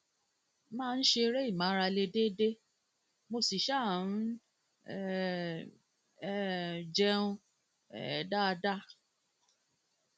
mo máa ń ṣeré ìmárale déédéé mo sì um ń um um jẹun um dáadáa